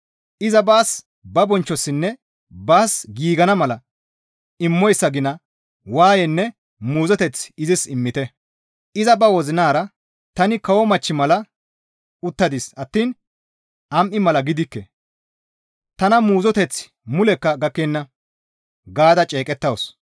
Iza baas, ba bonchchossinne baas giigana mala immoyssa gina waayenne muuzoteth izis immite; iza ba wozinara, ‹Tani kawo machchi mala uttadis attiin am7i mala gidikke; tana muuzoteththi mulekka gakkenna› gaada ceeqettawus.